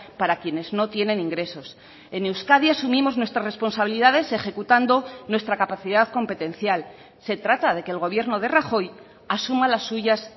para quienes no tienen ingresos en euskadi asumimos nuestras responsabilidades ejecutando nuestra capacidad competencial se trata de que el gobierno de rajoy asuma las suyas